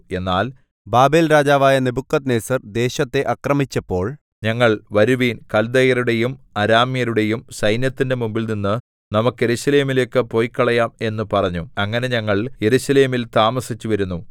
എന്നാൽ ബാബേൽരാജാവായ നെബൂഖദ്നേസർ ദേശത്തെ ആക്രമിച്ചപ്പോൾ ഞങ്ങൾ വരുവിൻ കല്ദയരുടെയും അരാമ്യരുടെയും സൈന്യത്തിന്റെ മുമ്പിൽനിന്ന് നമുക്ക് യെരൂശലേമിലേക്ക് പോയ്ക്കളയാം എന്ന് പറഞ്ഞു അങ്ങനെ ഞങ്ങൾ യെരൂശലേമിൽ താമസിച്ചുവരുന്നു